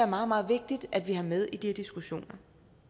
meget meget vigtigt at vi har med i de her diskussioner